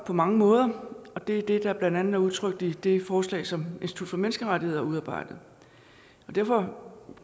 på mange måder og det er det der blandt andet er udtrykt i det forslag som institut for menneskerettigheder har udarbejdet derfor